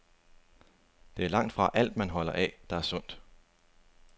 Det er langtfra alt, man holder af, der er sundt.